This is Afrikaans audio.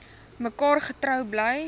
mekaar getrou bly